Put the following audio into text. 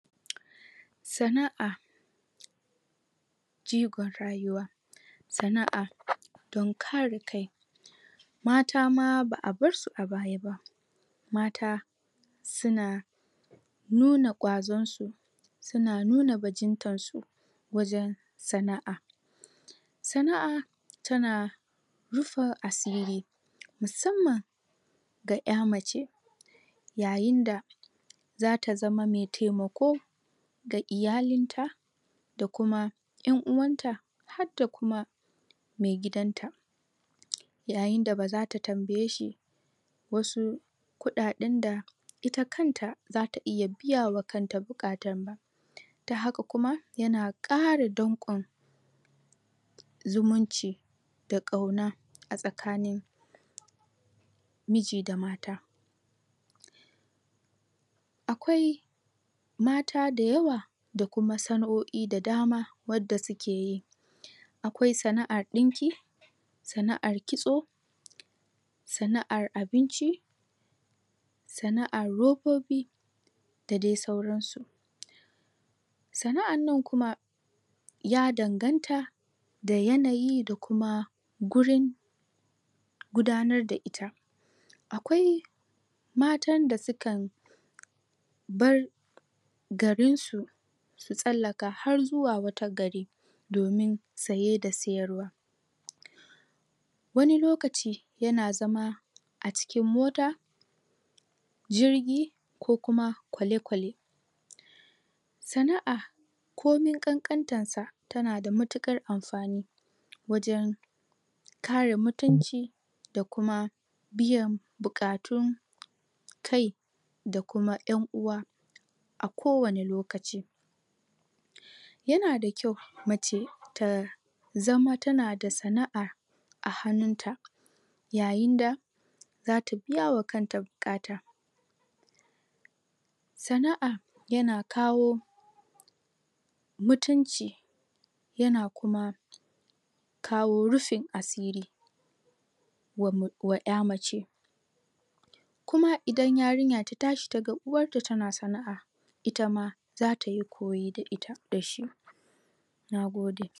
sana'a jigon rayuwa sana'a dan kare kai mata ma ba'a bar su a baya ba mata su na nuna kwazon su su na na bagintan su wajen sana'a sana'a ta na rufa asiri musamman ga ya mace yayin da zata zamamaitaimako da iyalinta da kuma yan uwan ta hadda kuma mai gidan ta yayin da baza ta tambaye shi wasu kudaden da ita kanta za ta iya biya wa kan ta bukata ta haka kumayanakara dankon zumunci da kauna a tsakanin miji da mata akwai mata da yawa da kuma sanaoi da dama wadda u ke yi akwai sana'ar dinki sana'ar kitso sana'ar abinci sana'ar robobi da daisauransu sana'an nan kuma ya danganta da yanayi da kuma gurin gudannar da it akawi matan da su kan bar garin su su sallaka har zuwa wata gari domin saye da sayyar wa wani lokaci ya na zama a cikin mota jirgi ko kuma kole kole sana'a komin kankantansa ta na da matukar amfani wajen mutunci da kuma biyan bukatun kai da kuma yan uwa a kowane lokaci yana da kyau mace ta zama ta nada sana'a a hanunta yayin da za ta biya wa kan ta bukata sana'a ya na kawo mutunci yana kuma kawo rufin asiri wa 'ya mace kuma idan yarinya ta tashi ta ga uwanta na sana'a ita ma za ta yi koyi da ita da shi nagode